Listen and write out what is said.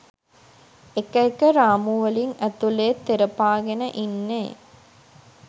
එක එක රාමු වලින් ඇතුලේ තෙරපාගෙන ඉන්නේ.